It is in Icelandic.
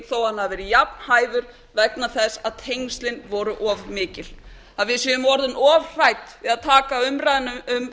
þó að hann hafi verið jafnhæfur vegna þess að tengslin voru of mikil að við séum orðin of hrædd við að taka umræðuna um